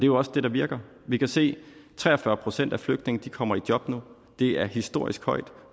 jo også det der virker vi kan se at tre og fyrre procent af flygtningene kommer i job nu det er historisk højt